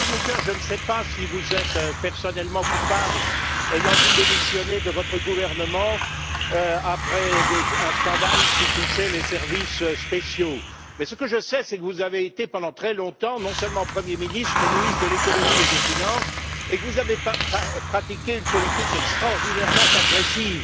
Monsieur Juncker, je ne sais pas si vous êtes personnellement coupable, ayant dû démissionner de votre gouvernement après un scandale qui touchait les services spéciaux, mais ce que je sais, c'est que vous avez été pendant très longtemps, non seulement Premier ministre, mais ministre de l'économie et des finances, et que vous avez pratiqué une politique extraordinairement agressive